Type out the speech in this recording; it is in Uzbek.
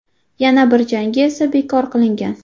Yana bir jangi esa bekor qilingan.